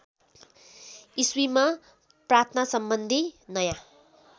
इस्वीमा प्रार्थनासम्बन्धी नयाँ